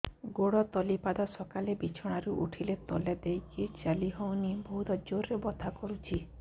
ଗୋଡ ତଳି ପାଦ ସକାଳେ ବିଛଣା ରୁ ଉଠିଲେ ତଳେ ଦେଇକି ଚାଲିହଉନି ବହୁତ ଜୋର ରେ ବଥା କରୁଛି